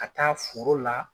Ka taa foro la.